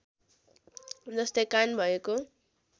जस्तै कान भएको